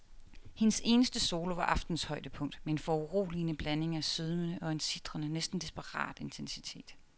Hendes eneste solo var aftenens højdepunkt med en foruroligende blanding af sødme og en sitrende, næsten desperat intensitet.